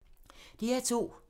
DR2